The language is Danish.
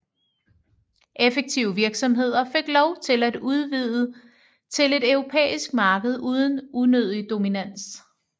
Effektive virksomheder fik lov til at udvide til et europæisk marked uden unødig dominans